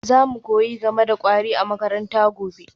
Za mu koyi game da kwari a makaranta gobe